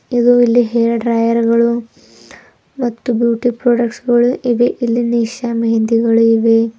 ಇದು ಇಲ್ಲಿ ಹೇರ್ ಡ್ರೈಯರ್ಗಳು ಮತ್ತು ಬ್ಯೂಟಿ ಪ್ರಾಡಕ್ಟ್ಸಗಳು ಇವೆ ಇಲ್ಲಿ ನಿಶಾ ಮೆಹಂದಿಗಳು ಇವೆ.